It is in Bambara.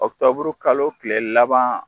Oktɔburukalo tile laban.